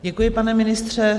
Děkuji, pane ministře.